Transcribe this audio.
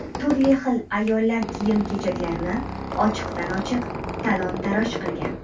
turli xil ayollar-kiyim-kechaklarini ochiqdan-ochiq talon-toroj qilgan.